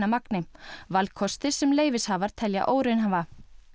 magni valkostir sem leyfishafar telja óraunhæfa